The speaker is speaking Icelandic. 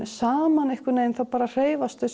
saman hreyfast þau